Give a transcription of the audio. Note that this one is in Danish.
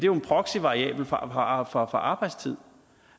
jo en proxyvariabel for arbejdstid